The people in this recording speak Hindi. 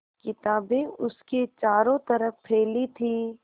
किताबें उसके चारों तरफ़ फैली थीं